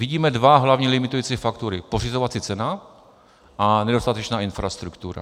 Vidíme dva hlavní limitující faktory - pořizovací cena a nedostatečná infrastruktura.